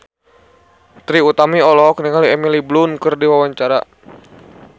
Trie Utami olohok ningali Emily Blunt keur diwawancara